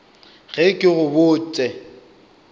ge ke go bot se